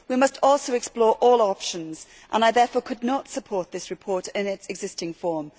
We must also explore all our options and I therefore could not support this report in its existing form.